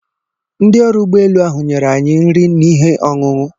Ndị ọrụ ụgbọelu ahụ nyere anyị nri n'ihe ọṅụṅụ.